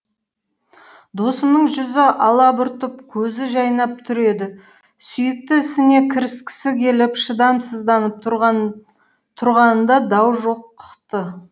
досымның жүзі алабұртып көзі жайнап түр еді сүйікті ісіне кіріскісі келіп шыдамсызданып тұрғанында дау жоқ ты